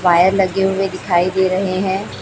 Wire लगे हुए दिखाई दे रहे हैं।